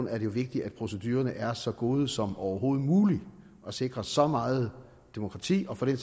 er vigtigt at procedurerne er så gode som overhovedet muligt og sikrer så meget demokrati og for den